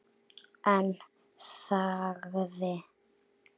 En þagði.